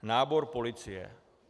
Nábor policie.